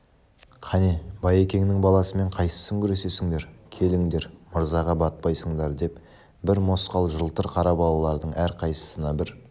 кәне байекеңнің баласымен қайсың күресесіңдер келіңдер мырзаға батпайсыңдар деп бір мосқал жылтыр кара балалардың әрқайсысына бір